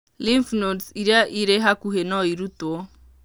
Lymph nodes iria irĩ hakuhĩ no irutwo.